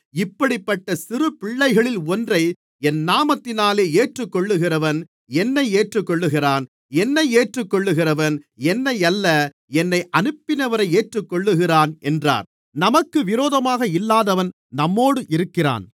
இப்படிப்பட்ட சிறு பிள்ளைகளில் ஒன்றை என் நாமத்தினாலே ஏற்றுக்கொள்ளுகிறவன் என்னை ஏற்றுக்கொள்ளுகிறான் என்னை ஏற்றுக்கொள்ளுகிறவன் என்னை அல்ல என்னை அனுப்பினவரை ஏற்றுக்கொள்ளுகிறான் என்றார்